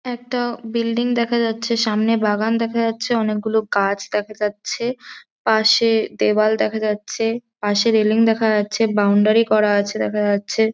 একটা বিল্ডিং দেখা যাচ্ছে সামনে বাগান দেখা যাচ্ছে অনেক গুলো গাছ দেখা যাচ্ছে পাশে দেওয়াল দেখা যাচ্ছে পাশে রেলিং দেখা যাচ্ছে বাউন্ডারি করা আছে দেখা যাচ্ছে।